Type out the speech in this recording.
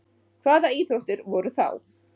Hvaða íþróttir voru þá?